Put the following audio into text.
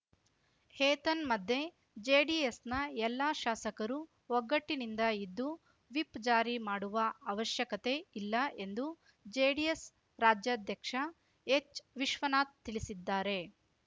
ಏತನ್ಮಧ್ಯೆ ಜೆಡಿಎಸ್‌ನ ಎಲ್ಲಾ ಶಾಸಕರೂ ಒಗ್ಗಟ್ಟಿನಿಂದ ಇದ್ದು ವಿಪ್‌ ಜಾರಿ ಮಾಡುವ ಅವಶ್ಯಕತೆ ಇಲ್ಲ ಎಂದು ಜೆಡಿಎಸ್‌ ರಾಜ್ಯಾಧ್ಯಕ್ಷ ಎಚ್‌ ವಿಶ್ವನಾಥ್‌ ತಿಳಿಸಿದ್ದಾರೆ